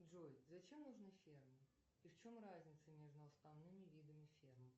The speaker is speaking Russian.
джой зачем нужны фермы и в чем разница между основными видами ферм